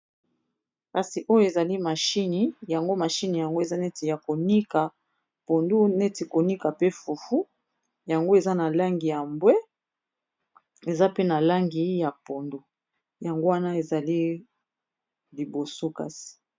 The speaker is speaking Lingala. kasi oyo ezali mahini yango mashine yango eza neti ya konika pondu neti konika pe fufu yango eza na langi ya mbwe eza pe na langi ya pondu yango wana ezali liboso kasi